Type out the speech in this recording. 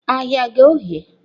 Ahịa ghe oghe.